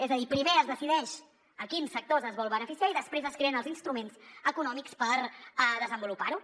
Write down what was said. és a dir primer es decideix a quins sectors es vol beneficiar i després es creen els instruments econòmics per desenvolupar ho